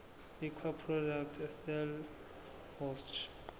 liquor products estellenbosch